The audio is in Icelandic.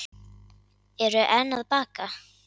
Eru enn að baka